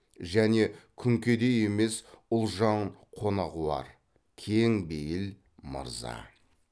және күнкедей емес ұлжан қонағуар кең бейіл мырза